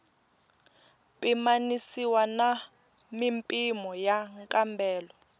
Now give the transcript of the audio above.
pimanisiwa na mimpimo ya nkambelo